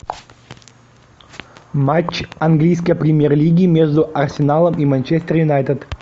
матч английской премьер лиги между арсеналом и манчестер юнайтед